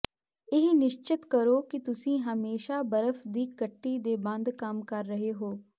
ਇਹ ਨਿਸ਼ਚਤ ਕਰੋ ਕਿ ਤੁਸੀਂ ਹਮੇਸ਼ਾਂ ਬਰਫ ਦੀ ਕੱਟੀ ਦੇ ਬੰਦ ਕੰਮ ਕਰ ਰਹੇ ਹੋ